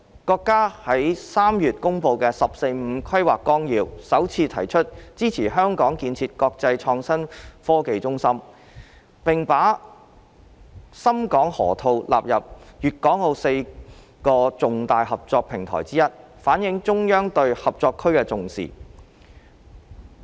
國家於3月公布的《十四五規劃綱要》，首次提出支持香港建設國際創新科技中心，並把深港河套納入粵港澳4個重大合作平台之一，反映了中央對合作區的重視。